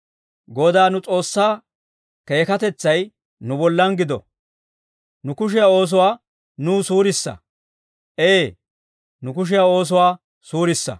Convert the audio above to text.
Godaa nu S'oossaa keekkatetsay nu bollan gido; nu kushiyaa oosuwaa nuw suurissa. Ee, nu kushiyaa oosuwaa suurissa.